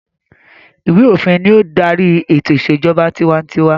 Ìwé-òfin ni ó ń darí ètò ìṣèjọba tiwantiwa.